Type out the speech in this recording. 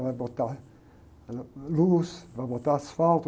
Ela vai botar luz, vai botar asfalto.